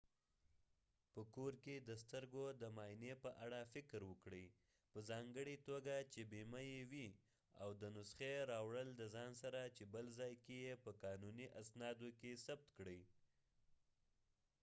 په کور کې د سترګو د معا ینی په اړه فکر وکړي په ځانګړی توګه چې بیمه یې وي او د نسخی راوړل دځان سره چې بل ځای کې یې په قانونی اسنادو کې ثبت کړي